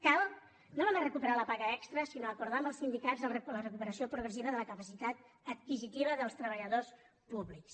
cal no només recuperar la paga extra sinó acordar amb els sindicats la recuperació progressiva de la capacitat adquisitiva dels treballadors públics